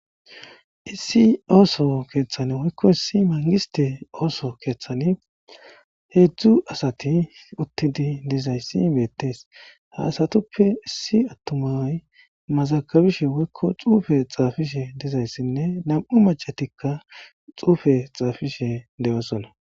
Issi ooso keeththan woykko issi mangiste ooso keeththani heedzdzu asati uttidi dizayssi beettees haasatuppe issi attumay mazakabishe woykko xuufe xaafishe dizayssinne nam,u macatikka xuufe xaafishe de,osola.